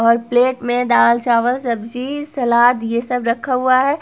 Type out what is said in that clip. और प्लेट मे दाल चावल सब्जी सलाद ये सब रखा हुआ है।